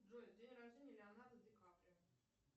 джой день рождения леонардо ди каприо